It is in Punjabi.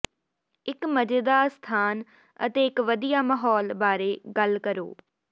ਇੱਕ ਮਜ਼ੇਦਾਰ ਸਥਾਨ ਅਤੇ ਇੱਕ ਵਧੀਆ ਮਾਹੌਲ ਬਾਰੇ ਗੱਲ ਕਰੋ